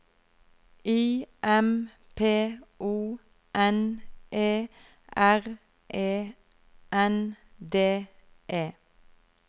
I M P O N E R E N D E